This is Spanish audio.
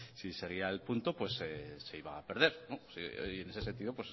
si seguía el punto se iba a perder y en ese sentido